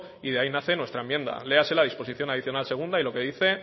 y de ahí nace nuestra enmienda léase la disposición adicional segunda y lo que dice